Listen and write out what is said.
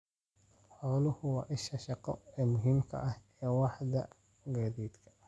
Xooluhu waa isha shaqo ee muhiimka ah ee waaxda gaadiidka.